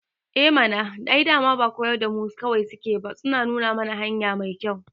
Eh mana, ai dama ba koyar da mu kaɗai suke ba suna nuna mana hanya mai kyau